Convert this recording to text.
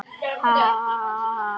Kofinn hefði brunnið til ösku!